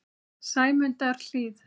Sæmundarhlíð